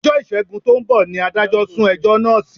Ọjọ́ Ìṣègùn tó ń bọ̀ ni adájọ́ sún ẹjọ́ náà sí